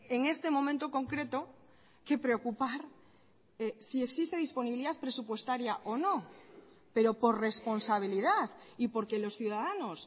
en este momento concreto que preocupar si existe disponibilidad presupuestaria o no pero por responsabilidad y porque los ciudadanos